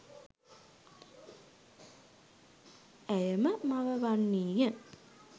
ඇය ම මව වන්නී ය.